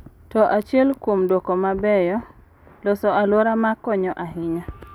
To achiel kuom duoko mabeyo, loso alwora ma konyo ahinya.